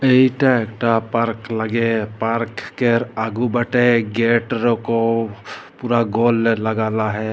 इटा एक टा पार्क लागे पार्क केर आगु बाटे एक गेट रोको पूरा गोल लगाला है।